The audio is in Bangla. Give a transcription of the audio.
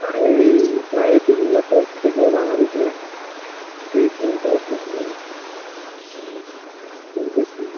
ওই বাইরের দেশগুলোতে থেকেও বাংলাদেশে চিকিত্সা নিতে আসতেছে মানুষ. .